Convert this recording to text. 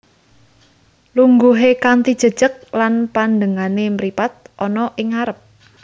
Lungguhe kanthi jejeg lan pandengane mripat ana ing ngarep